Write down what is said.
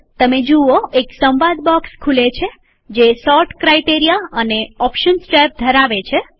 તમે જુઓ એક સંવાદ બોક્સ ખુલે છે જે સોર્ટ ક્રાઈટેરિયા અને ઓપ્શન્સ ટેબ ધરાવે છે